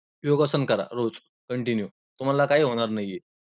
योगासन करा रोज continue, तुम्हाला काही होणार नाही.